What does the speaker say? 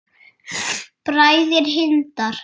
Bræður Hindar